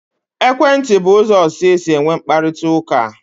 Ekwentị bụ ụzọ ọzọ e si enwe mkparịkọtaụka.